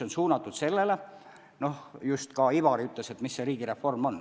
Noh, Ivari just küsis, mis see riigireform on.